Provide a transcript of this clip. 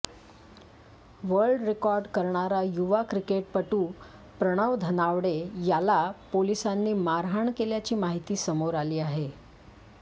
world record करणारा युवा क्रिकेटपटू प्रणव धनावडे याला पोलिसांनी मारहाण केल्याची माहिती समोर आली आहे